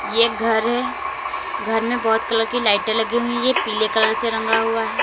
ये घर है घर में बहोत कलर की लाइटें लगी हुई है पीले कलर से रंगा हुआ है।